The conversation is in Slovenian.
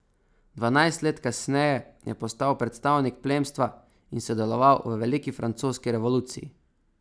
Dvanajst let kasneje je postal predstavnik plemstva in sodeloval v veliki francoski revoluciji.